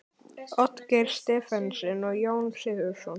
Oddgeir Stephensen og Jón Sigurðsson.